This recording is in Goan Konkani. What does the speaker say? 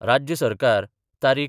राज्य सरकार तारीख.